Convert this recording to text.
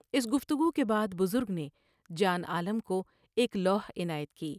اس گفتگو کے بعد بزرگ نے جان عالم کو ایک لوح عنایت کی ۔